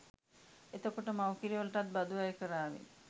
එතකොට මව්කිර වලටත් බදු අය කාරාවි